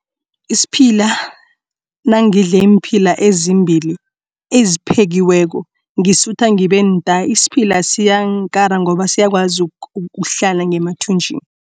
Isiphila nangidle iimphila ezimbili eziphekiweko ngisisuthu ngibe nta. Isiphila siyangikara ngoba siyakwazi ukuhlala ngemathunjini.